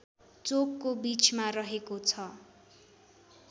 चोकको बीचमा रहेको छ